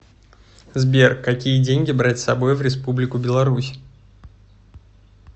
сбер какие деньги брать с собой в республику беларусь